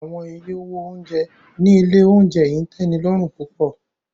Awọn iye owo ounjẹ ni ile ounjẹ yii n tẹnilọrun pupọ.